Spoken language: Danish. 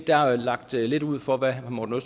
er jo lagt lidt ud for hvad herre morten